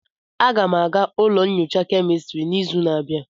Aga m aga ụlọ nyocha kemistri n'izu na-abịa.